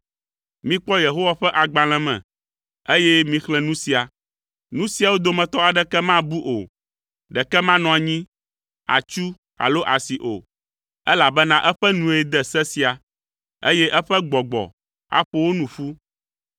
Mikpɔ Yehowa ƒe agbalẽ me, eye mixlẽ nu sia. Nu siawo dometɔ aɖeke mabu o, ɖeke manɔ anyi, atsu alo asi o, elabena eƒe nue de se sia, eye eƒe Gbɔgbɔ aƒo wo nu ƒu.